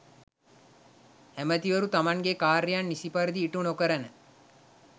ඇමතිවරු තමන්ගේ කාර්යන් නිසි පරිදි ඉටු නොකරන